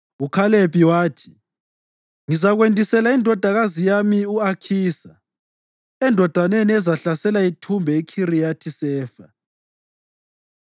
UKhalebi wathi, “Ngizakwendisela indodakazi yami u-Akhisa endodeni ezahlasela ithumbe iKhiriyathi-Sefa.”